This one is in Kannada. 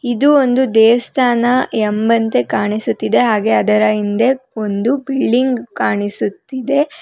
ಇದು ಒಂದು ದೇವಸ್ಥಾನ ಎಂಬಂತೆ ಕಾಣಿಸುತ್ತಿದೆ ಹಾಗೆ ಅದರ ಹಿಂದೆ ಒಂದು ಬಿಲ್ಡಿಂಗ್ ಕಾಣಿಸುತ್ತಿದೆ.